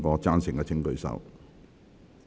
贊成的請舉手。